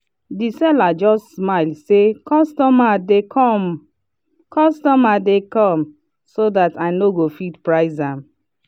the seller just smile say “customer dey come” “customer dey come” so that i nogo fit price am.